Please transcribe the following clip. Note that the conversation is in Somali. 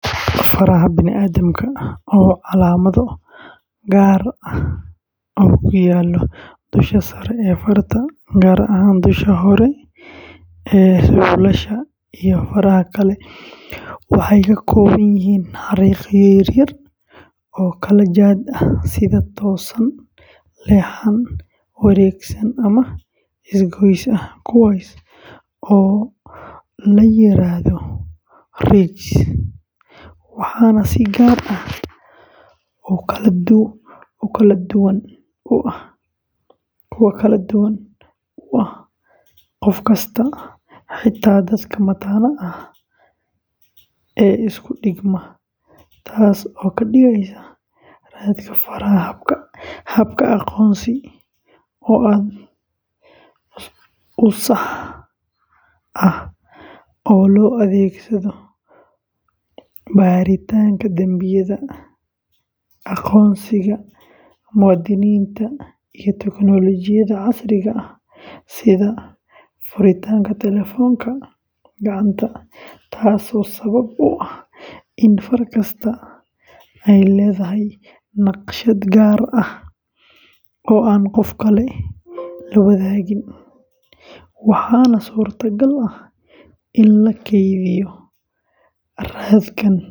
Faraha bini’aadamka, oo ah calaamado gaar ah oo ku yaalla dusha sare ee farta, gaar ahaan dusha hore ee suulasha iyo faraha kale, waxay ka kooban yihiin xarriiqyo yaryar oo kala jaad ah sida toosan, leexsan, wareegsan ama isgoys ah, kuwaas oo la yiraahdo ridges, waxaana si gaar ah u kala duwan u ah qof kasta, xitaa dadka mataanaha ah ee isku dhigma, taas oo ka dhigaysa raadadka faraha hab aqoonsi oo aad u sax ah oo loo adeegsado baaritaanka dambiyada, aqoonsiga muwaadiniinta, iyo tiknoolajiyadda casriga ah sida furitaanka taleefoonka gacanta, taasoo sabab u ah in far kastaa leeyahay naqshad gaar ah oo aan qof kale la wadaagin, waxaana suurtagal ah in la kaydiyo raadadkan.